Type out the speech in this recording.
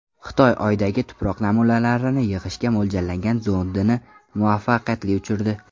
Xitoy Oydagi tuproq namunalarini yig‘ishga mo‘ljallangan zondini muvaffaqiyatli uchirdi .